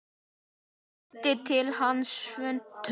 Tóti henti til hans svuntu.